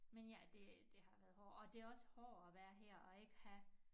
Men ja det det har været hårdt og det også hårdere at være her og ikke have